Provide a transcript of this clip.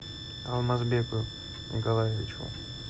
алмазбеку николаевичу